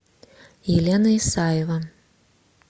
елена исаева